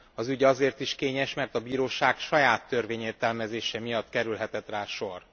Az ügy azért is kényes, mert a bíróság saját törvényértelmezése miatt kerülhetett rá sor.